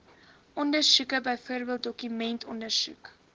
ondersoeke byvoorbeeld dokumentondersoek